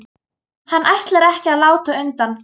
Hann ætlar ekki að láta undan.